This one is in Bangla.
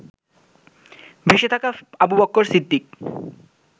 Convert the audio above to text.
ভেসে থাকা আবু বকর সিদ্দিক